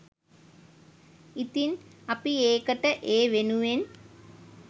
ඉතින් අපි ඒකට ඒ වෙනුවෙන්